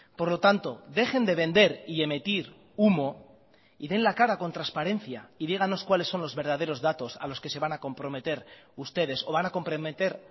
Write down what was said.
por lo tanto dejen de vender y emitir humo y den la cara con transparencia y díganos cuáles son los verdaderos datos a los que se van a comprometer ustedes o van a comprometer